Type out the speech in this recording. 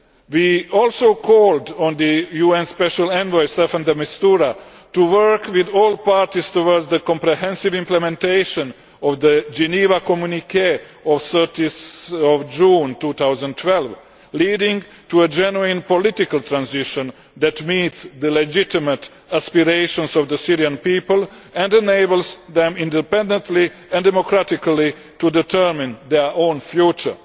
We also called on the UN Special Envoy, Staffan de Mistura, to work with all parties towards the comprehensive implementation of the Geneva Communiqué of 30 June 2012 leading to a genuine political transition that meets the legitimate aspirations of the Syrian people and enables them independently and democratically to determine their own future.